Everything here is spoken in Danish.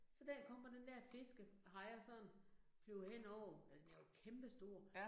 Så den kommer den der fiskehejre sådan flyver henover øh den er jo kæmpestor